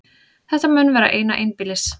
Þetta mun vera eina einbýlis